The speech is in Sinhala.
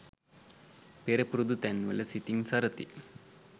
පෙර පුරුදු තැන් වල සිතින් සරති.